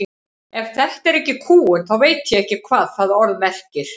Ef þetta er ekki kúgun þá veit ég ekki hvað það orð merkir.